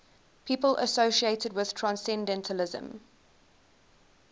people associated with transcendentalism